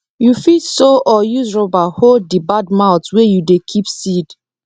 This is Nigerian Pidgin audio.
you fit sew or use rubber hold the bad mouth wey you dey keep seed